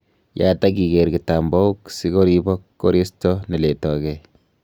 Yaat ak igeer kitambaok si koribok koristo ne letooge.